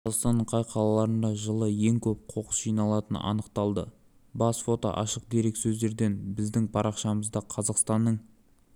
қазақстанның қай қалаларында жылына ең көп қоқыс жиналатыны анықталды бас фото ашық дереккөздерден біздің парақшамызда қазақстанның